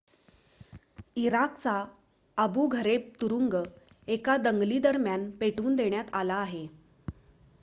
इराकचा Abu Ghraib तुरुंग एका दंगलीदरम्यान पेटवून देण्यात आला आहे